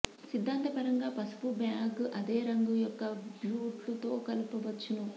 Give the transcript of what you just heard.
సిద్ధాంతపరంగా పసుపు బ్యాగ్ అదే రంగు యొక్క బూట్లు తో కలపవచ్చును